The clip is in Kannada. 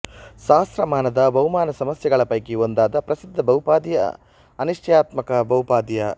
ಸಹಸ್ರಮಾನದ ಬಹುಮಾನ ಸಮಸ್ಯೆಗಳ ಪೈಕಿ ಒಂದಾದ ಪ್ರಸಿದ್ಧ ಬಹುಪದೀಯ ಅನಿಶ್ಚಯಾತ್ಮಕ ಬಹುಪದೀಯ